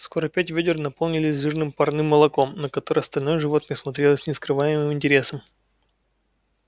скоро пять вёдер наполнились жирным парным молоком на которое остальное животное смотрело с нескрываемым интересом